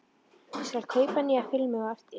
Ég skal kaupa nýja filmu á eftir.